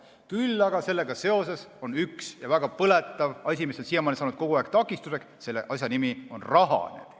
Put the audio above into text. Küll aga on sellega seoses üks väga põletav asi, mis on siiamaani saanud kogu aeg takistuseks, ja selle asja nimi on raha.